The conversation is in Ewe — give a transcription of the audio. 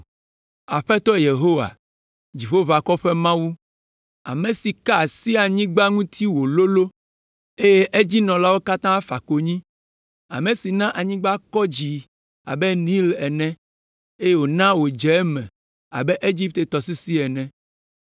Aƒetɔ Yehowa, Dziƒoʋakɔwo ƒe Mawu, ame si ka asi anyigba ŋuti wòlolõ, eye edzinɔlawo katã fa konyi, ame si na anyigba kɔ dzi abe Nil ene, eye wòna wòdze eme abe Egipte tɔsisi ene.